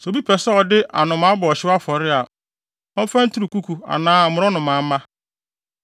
“ ‘Sɛ obi pɛ sɛ ɔde anomaa bɔ ɔhyew afɔre a, ɔmfa nturukuku anaa mmorɔnomamma.